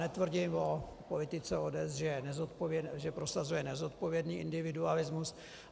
Netvrdím o politice ODS, že prosazuje nezodpovědný individualismus.